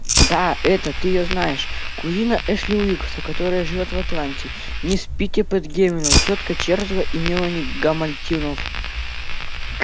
да эта ты её знаешь кузина эшли уилкса которая живёт в атланте мисс питтипэт гамильтон тётка чарлза и мелани гамильтонов